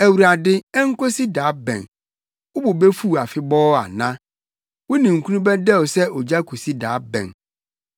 Awurade, enkosi da bɛn? Wo bo befuw afebɔɔ ana? Wo ninkunu bɛdɛw sɛ ogya akosi da bɛn?